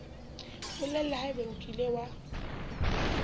bolela haebe o kile wa